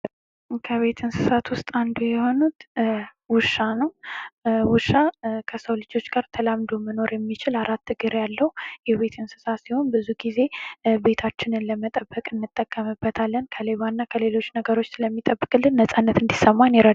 ከቤት እሳት ውስጥ አንዱ የሆነው ውሻ ነው ውሻ ከሰው ልጆች ጋር መኖር የሚችል አራት እግር ያለው የቤት እንስሳ ሲሆን ብዙ ጊዜ ቤታችንን ለመጠበቅ እንጠቀምበታለን ከሌባና ከሌሎች ነገሮች ስለሚጠብቅልን ነፃነት እንዲሰማን ያደርጋል